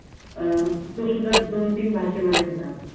अं तो सुद्धा दोन-तीन भाषेमध्ये होता.